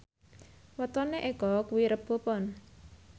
wetone Eko kuwi Rebo Pon